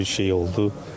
Elə bir şey oldu.